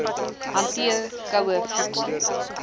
hanteer koue voedsel